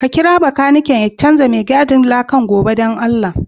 Ka kira makanikin ya chanza mai gadin lakan goba dan allah.